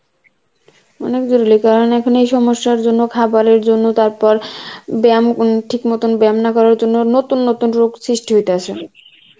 অনেক জরুরী কারণ এখন এই সমস্যার জন্য খাবারের জন্য তারপর, বেম উম ঠিক মতন বেম না করার জন্য নতু নতুন রোগ সৃষ্টি হইতাছে